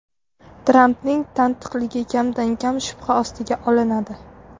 Trampning tantiqligi kamdan-kam shubha ostiga olinadi.